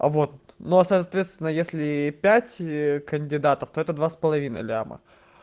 вот но соответственно если пять кандидатов это два с половиной ляма